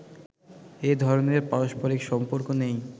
এ ধরনের পারস্পরিক সম্পর্ক নেই